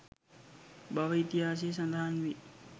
බව ඉතිහාසයේ සඳහන් වේ